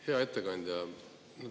Hea ettekandja!